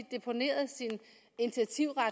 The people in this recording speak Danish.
deponeret sin initiativret